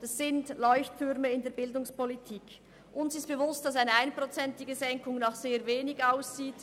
Es ist uns bewusst, dass eine Senkung um 1 Prozent nach sehr wenig aussieht.